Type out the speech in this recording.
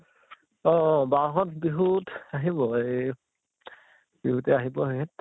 বাহত বিহুত আহিব, এই । বিহুতে আহিব সেহেঁত